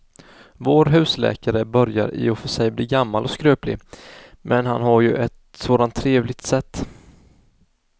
Vår husläkare börjar i och för sig bli gammal och skröplig, men han har ju ett sådant trevligt sätt!